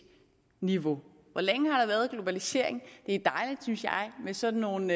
niveau hvor længe har der været globalisering det er dejligt synes jeg med sådan nogle